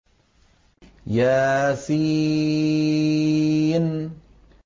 يس